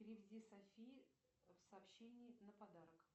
переведи софии в сообщении на подарок